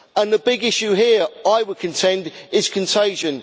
The big issue here, I would contend, is contagion.